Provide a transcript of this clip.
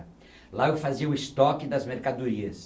Lá eu fazia o estoque das mercadorias.